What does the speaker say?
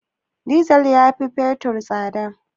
Dizal ya fi fetur tsada